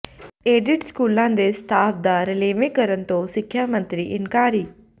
aided ਸਕੂਲਾਂ ਦੇ staff ਦਾ ਰਲੇਵਾਂ ਕਰਨ ਤੋਂ ਸਿੱਖਿਆ ਮੰਤਰੀ ਇਨਕਾਰੀ